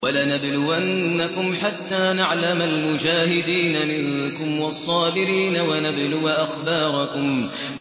وَلَنَبْلُوَنَّكُمْ حَتَّىٰ نَعْلَمَ الْمُجَاهِدِينَ مِنكُمْ وَالصَّابِرِينَ وَنَبْلُوَ أَخْبَارَكُمْ